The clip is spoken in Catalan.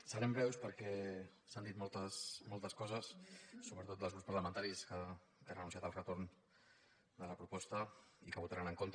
serem breus perquè s’han dit moltes coses sobretot els grups parlamentaris que han anunciat el retorn de la proposta i que hi votaran en contra